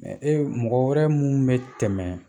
Mɛ e mɔgɔ wɛrɛ minnu bɛ tɛmɛ